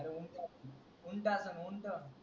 ऊंट असलं ऊंट